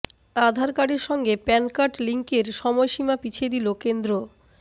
আধার কার্ডের সঙ্গে PAN card লিঙ্কের সময়সীমা পিছিয়ে দিল কেন্দ্র